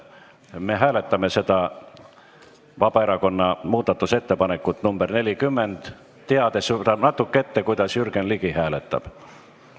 Me hääletame seda Vabaerakonna muudatusettepanekut nr 40, teades võib-olla natuke ette, kuidas Jürgen Ligi hääletab.